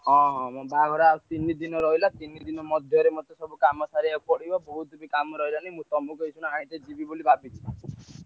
ହଁ ହଁ ମୋ ବାହାଘର ଆଉ ତିନି ଦିନ ରହିଲା ତିନି ଦିନି ମଧ୍ୟରେ ମତେ ସବୁ କାମ ସାରିଆକୁ ପଡିବ ବହୁତ କିଛି କାମ ରହିଲାଣି ତମେ କୋଉଦିନ ଆଇଲେ ଯିବି ବୋଲି ଭାବିଛି।